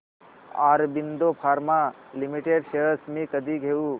Aurobindo pharma limited shares मी कधी घेऊ